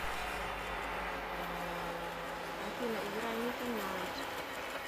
афина играй никко найт